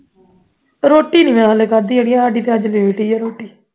ਰੋਟੀ ਨਹੀਂ ਮੈਂ ਹਾਲੇ ਖਾਦੀ ਅੜੀਏ ਸਾਡੀ ਅੱਜ late ਹੀ ਹੈ ਰੋਟੀ